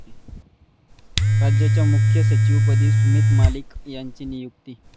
राज्याच्या मुख्य सचिवपदी सुमित मलिक यांची नियुक्ती